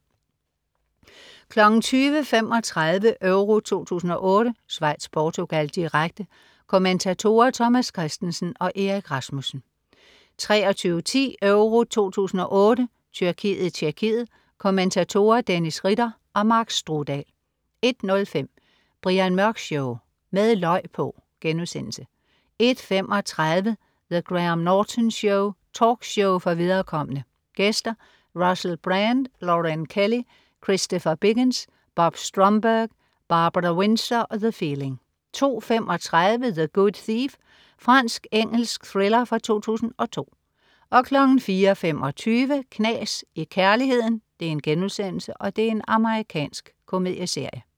20.35 EURO 2008: Schweiz-Portugal, direkte. Kommentatorer: Thomas Kristensen og Erik Rasmussen 23.10 EURO 2008: Tyrkiet-Tjekkiet. Kommentatorer: Dennis Ritter og Mark Strudal 01.05 Brian Mørk Show. Med løg på!* 01.35 The Graham Norton Show. Talkshow for viderekomne. Gæster: Russell Brand, Lorraine Kelly, Christopher Biggins, Bob Stromberg, Barbara Windsor og The Feeling 02.35 The Good Thief. Fransk-engelsk thriller fra 2002 04.25 Knas i kærligheden.* Amerikansk komedieserie